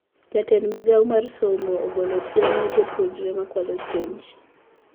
Jatend migao mar somo ogolo siem ne joupunre makwalo penj